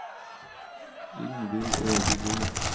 Ingvill Ødegård